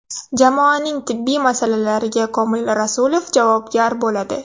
Jamoaning tibbiy masalalariga Komil Rasulov javobgar bo‘ladi.